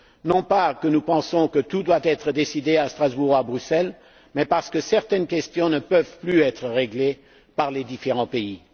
Non pas que nous pensions que tout doit être décidé à Strasbourg ou à Bruxelles, mais parce que certaines questions ne peuvent plus être réglées par les différents pays.